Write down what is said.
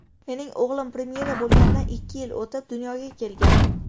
Mening o‘g‘lim premyera bo‘lganidan ikki yil o‘tib, dunyoga kelgan.